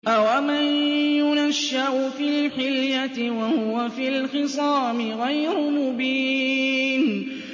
أَوَمَن يُنَشَّأُ فِي الْحِلْيَةِ وَهُوَ فِي الْخِصَامِ غَيْرُ مُبِينٍ